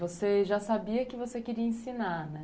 Você já sabia que você queria ensinar, né?